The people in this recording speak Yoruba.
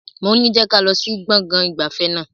Moní je kálọ̀ sí gbọ̀ngàn ìgbafẹ́ náà!